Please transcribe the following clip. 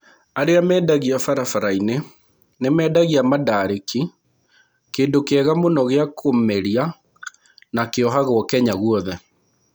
Arĩa mendagia barabara-inĩ nĩ mendagia mandarĩki, kĩndũ kĩega mũno gĩa kũmeria na kĩohagwo Kenya guothe.